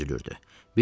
əzilib büzülürdü.